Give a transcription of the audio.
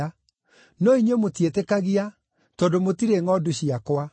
no inyuĩ mũtiĩtĩkagia tondũ mũtirĩ ngʼondu ciakwa.